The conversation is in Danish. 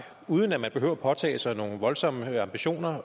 uden at man behøver at påtage sig nogle voldsomme ambitioner